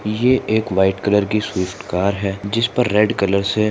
ये एक white colour की स्विफ्ट कार है जिसपर रेड कलर से --